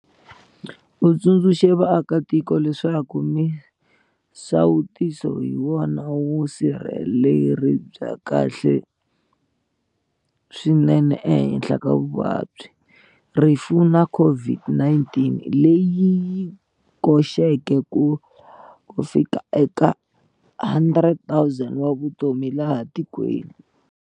U tsundzuxe vaakatiko leswaku misawutiso hi yona vusirheleri bya kahle swinene ehenhla vuvabyi, rifu na COVID-19, leyi yi koxeke ku lava ku fika eka 100 000 wa vutomi laha tikweni.